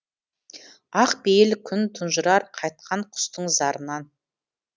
ақ пейіл күн тұнжырар қайтқан құстың зарынан